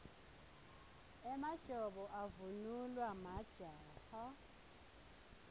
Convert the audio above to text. emajobo avunulwa majaha